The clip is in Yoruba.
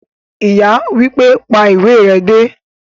Ìyá wípé,"pa ìwé re dé"